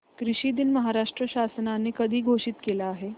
कृषि दिन महाराष्ट्र शासनाने कधी घोषित केला आहे